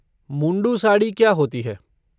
मुंडू साड़ी क्या होती है?